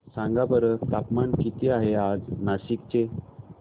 सांगा बरं तापमान किती आहे आज नाशिक चे